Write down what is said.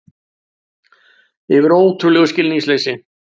Yfir ótrúlegu skilningsleysi